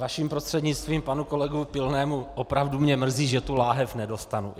Vaším prostřednictvím panu kolegovi Pilnému: Opravdu mě mrzí, že tu lahev nedostanu.